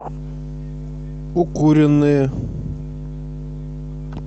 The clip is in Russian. укуренные